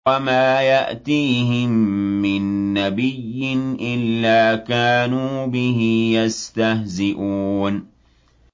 وَمَا يَأْتِيهِم مِّن نَّبِيٍّ إِلَّا كَانُوا بِهِ يَسْتَهْزِئُونَ